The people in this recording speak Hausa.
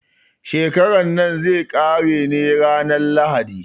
Shekaran nan zai ƙare ne ranar lahadi.